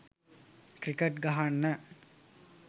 cricket ගහන්න